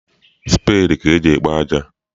Speedi ka eji ekpo aja.